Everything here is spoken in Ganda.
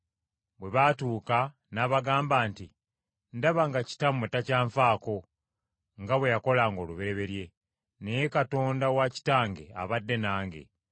Bwe baatuuka n’abagamba nti, “Ndaba nga kitammwe takyanfaako nga bwe yakolanga olubereberye, naye Katonda wa kitange abadde nange.